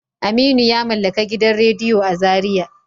Aminu yamallaka gidan radiyo a zariya.